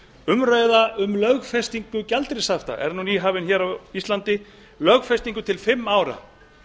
umræða um lögfestingu gjaldeyrishafta er nú nýhafin hér á íslandi lögfestingu til fimm ára